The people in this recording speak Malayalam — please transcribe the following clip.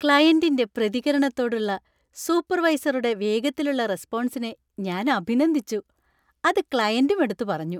ക്ലയന്‍റിന്‍റെ പ്രതികരണത്തോടുള്ള സൂപ്പർവൈസറുടെ വേഗത്തിലുള്ള റെസ്പോൺസിനെ ഞാൻ അഭിനന്ദിച്ചു, അത് ക്ലയന്‍റും എടുത്തു പറഞ്ഞു.